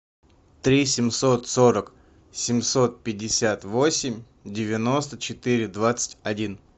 три семьсот сорок семьсот пятьдесят восемь девяносто четыре двадцать один